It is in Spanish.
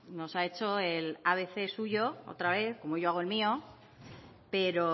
nos ha hecho el abc suyo otra vez como yo hago el mío pero